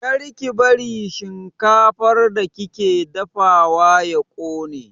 Kar ki bari shinkafar da kika dafawa ya ƙone!